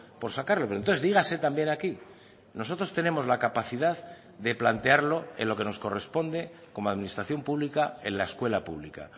por sacarlo pero entonces dígase también aquí nosotros tenemos la capacidad de plantearlo en lo que nos corresponde como administración pública en la escuela pública